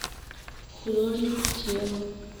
художник тела